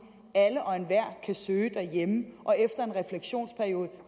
alle og enhver kan søge derhjemme og efter en refleksionsperiode